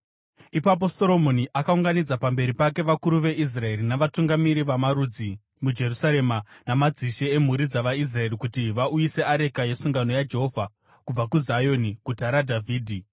Ipapo Soromoni akaunganidza pamberi pake vakuru veIsraeri navatungamiri vamarudzi muJerusarema namadzishe emhuri dzavaIsraeri, kuti vauyise areka yesungano yaJehovha kubva kuZioni, Guta raDhavhidhi.